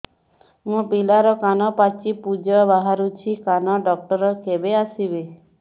ମୋ ପିଲାର କାନ ପାଚି ପୂଜ ବାହାରୁଚି କାନ ଡକ୍ଟର କେବେ ଆସିବେ